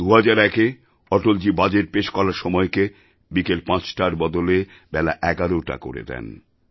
২০০১এ Atalji budget পেশ করার সময়কে বিকেল পাঁচটার বদলে বেলা এগারোটা করে দেন